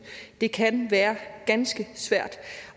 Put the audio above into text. det kan være ganske svært